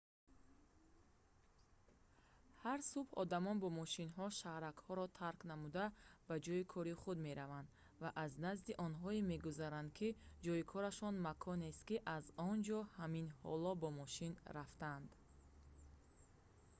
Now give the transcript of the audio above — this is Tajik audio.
ҳар субҳ одамон бо мошинҳо шаҳракҳоро тарк намуда ба ҷойи кори худ мераванд ва аз назди онҳое мегузаранд ки ҷойи корашон маконест ки аз он ҷо ҳамин ҳоло бо мошин рафтанд